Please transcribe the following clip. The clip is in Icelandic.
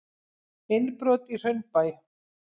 Innbrot í Hraunbæ